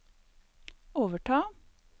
overta